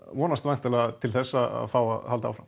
vonast væntanlega til að fá að halda áfram